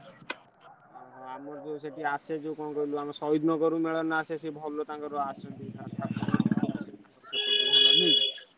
ଆମର ସେ ଯୋଉ ସେଠି ଆସେ କଣ କହିଲୁ ଶହୀଦ ନଗର ରୁ ଜଣେ ଆସେ,